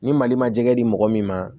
Ni mali ma jɛgɛ di mɔgɔ min ma